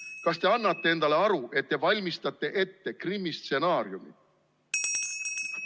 Kas te annate endale aru, et te valmistate ette Krimmi stsenaariumi?